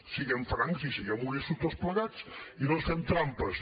siguem francs i siguem honestos tots plegats i no ens fem trampes